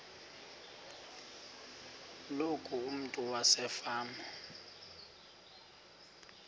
loku umntu wasefama